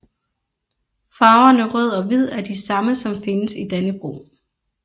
Farverne rød og hvid er de samme som findes i Dannebrog